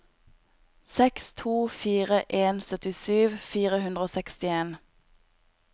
seks to fire en syttisju fire hundre og sekstien